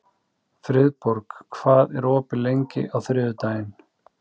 Friðborg, hvað er opið lengi á þriðjudaginn?